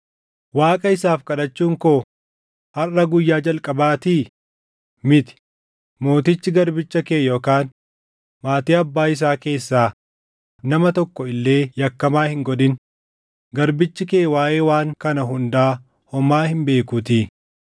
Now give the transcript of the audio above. Waaqa isaaf kadhachuun koo harʼa guyyaa jalqabaatii? Miti! Mootichi garbicha kee yookaan maatii abbaa isaa keessaa nama tokko illee yakkamaa hin godhin; garbichi kee waaʼee waan kana hundaa homaa hin beekuutii.”